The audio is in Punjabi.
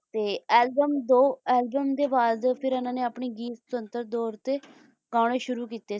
album ਦੋ album ਤੋਂ ਬਾਅਦ ਇਨ੍ਹਾਂ ਆਪਣੇ ਗੀਤ ਸੁਤੰਤਰ ਤੌਰ ਤੇ ਗਾਣੇ ਸ਼ੁਰੂ ਕੀਤੇ ਸੀ